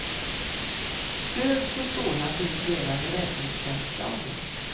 Stöd för sådan finns redan i räddningstjänstlagen.